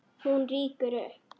Hún rýkur upp.